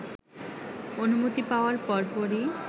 অনুমতি পাওয়ার পরপরই